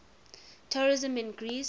tourism in greece